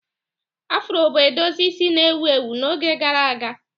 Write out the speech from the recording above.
Afro bụ edozi isi na-ewu ewu n'oge gara aga.